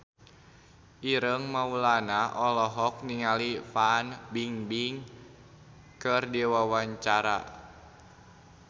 Ireng Maulana olohok ningali Fan Bingbing keur diwawancara